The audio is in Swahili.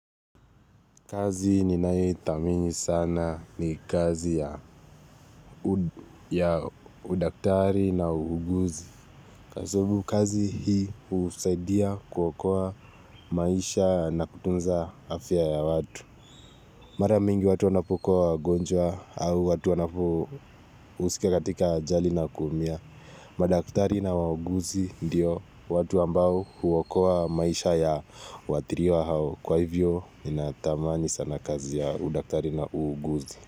Kazi ninayethamini sana ni kazi ya udaktari na uguzi. Kwa sababu kazi hii husaidia kuokoa maisha na kutunza afya ya watu. Mara mingi watu wanapokuwa wagonjwa au watu wanapuhusika katika ajali na kuumia. Madaktari na wauguzi ndiyo watu ambao huokoa maisha ya waathiriwa hao. Kwa hivyo, ninatamani sana kazi ya udaktari na uuguzi.